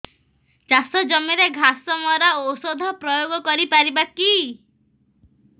ଚାଷ ଜମିରେ ଘାସ ମରା ଔଷଧ ପ୍ରୟୋଗ କରି ପାରିବା କି